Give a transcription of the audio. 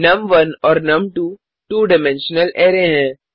नुम1 और नुम2 2 dimensional array हैं